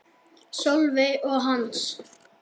Sólveig og Hans.